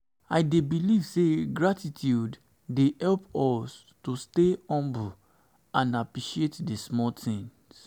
i dey um believe say gratitude dey help um us to stay um humble and appreciate di small things.